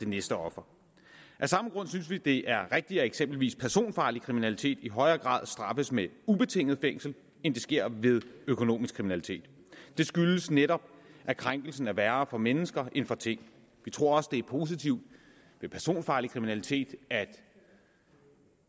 næste offer af samme grund synes vi at det er rigtigt at eksempelvis personfarlig kriminalitet i højere grad straffes med ubetinget fængsel end det sker ved økonomisk kriminalitet det skyldes netop at krænkelsen er værre for mennesker end for ting vi tror også at det er positivt ved personfarlig kriminalitet